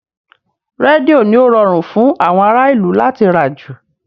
Rédíò ni ó rọrùn fún àwọn ará ìlú láti rà jù